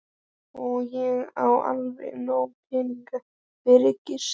Og ég á varla nóga peninga fyrir gistingu.